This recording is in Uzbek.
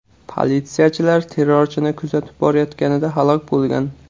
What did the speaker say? Politsiyachilar terrorchini kuzatib borayotganida halok bo‘lgan.